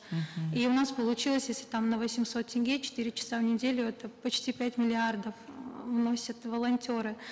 мхм и у нас получилось если там на восемьсот тенге четыре часа в неделю это почти пять миллиардов м вносят волонтеры